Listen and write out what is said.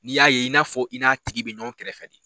N'i y'a ye i n'a fɔ i n'a tigi bɛ ɲɔgɔn kɛrɛfɛ de